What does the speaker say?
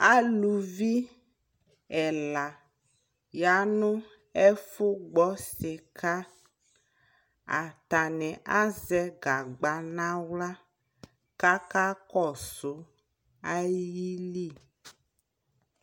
alʋvi ɛla yanʋ ɛƒʋ gbɔ sika, atani azɛ gagba nʋ ala kʋaka kɔsʋ ayili